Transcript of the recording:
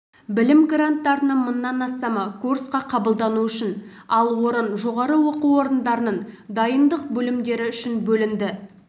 білім гранттарының мыңнан астамы курсқа қабылдану үшін ал орын жоғарғы оқу орындарының дайындық бөлімдері үшін бөлінді